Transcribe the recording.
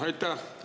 Aitäh!